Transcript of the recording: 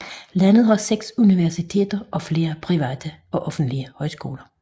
Landet har 6 universiteter og flere private og offentlige højskoler